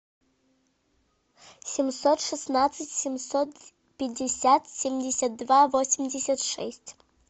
семьсот шестнадцать семьсот пятьдесят семьдесят два восемьдесят шесть